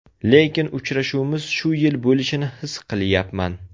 Lekin uchrashuvimiz shu yil bo‘lishini his qilyapman.